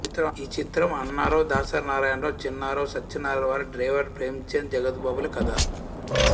ఈ చిత్రం అన్నారావు దాసరి నారాయణ రావు చిన్నారావు సత్యనారాయణ వారి డ్రైవర్ ప్రేమచంద్ జగపతి బాబు ల కథ